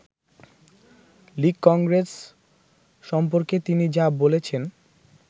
‘লীগ-কংগ্রেস’ সম্পর্কে তিনি যা বলেছেন